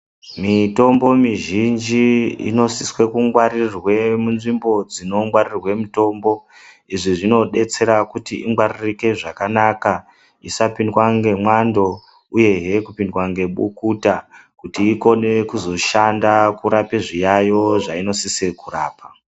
Mitombo mizhinji inosise kungwarirwe munzvimbo dzinongwarirwa mutombo. Izvi zvinodetsera kuti ingwaririke zvakanaka isapindwa ngemwando uyehe kupindwa nebukuta kuti ikone kuzoshanda zviyaiyo zvainosisa kurapa.